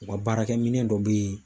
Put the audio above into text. U ka baarakɛminɛn dɔ bɛ